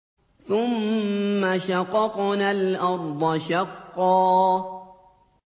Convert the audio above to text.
ثُمَّ شَقَقْنَا الْأَرْضَ شَقًّا